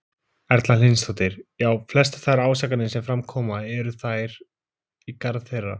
Erla Hlynsdóttir: Já, flestar þær ásakanir sem fram koma, eru þær í garð þeirra?